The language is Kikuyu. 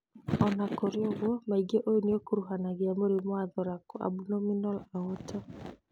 Ona kũrĩ ũguo, maingĩ ũyũ nĩũkuruhanagia mũrimũ wa thoracoabdominal aorta.